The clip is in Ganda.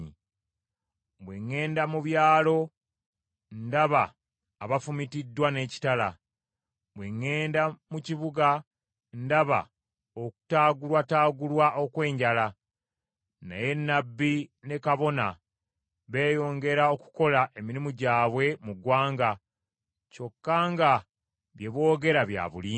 Bwe ŋŋenda mu byalo ndaba abafumitiddwa n’ekitala! Bwe ŋŋenda mu kibuga ndaba okutaagulwataagulwa okw’enjala. Naye nnabbi ne kabona beeyongera okukola emirimu gyabwe mu ggwanga kyokka nga bye boogera bya bulimba.’ ”